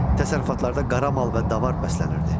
Təsərrüfatlarda qara mal və davar bəslənirdi.